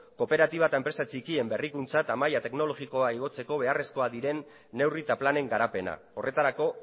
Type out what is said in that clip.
kooperatiba eta enpresa txikien berrikuntza eta maila teknologikoa igotzeko beharrezkoa diren neurri eta planen garapena horretarako